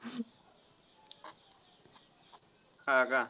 हा का?